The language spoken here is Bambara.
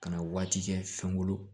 Ka na waati kɛ fɛnw bolo